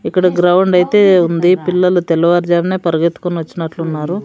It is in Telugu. ఇక్కడ గ్రౌండ్ అయితే ఉంది పిల్లలు తెల్లవారుజామునే పరిగెత్తుకుని వచ్చినట్లున్నారు.